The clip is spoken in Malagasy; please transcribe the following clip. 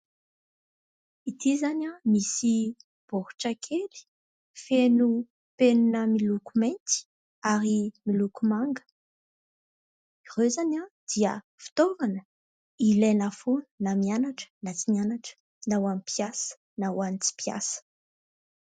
Ity izany misy baoritra kely feno penina miloko mainty ary miloko manga. Ireo izany dia fitaovana ilaina foana na mianatra, na tsy mianatra, na ho an'ny mpiasa, na ho an'ny tsy mpiasa.